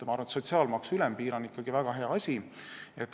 Ma arvan, et sotsiaalmaksu ülempiir on ikkagi väga hea asi.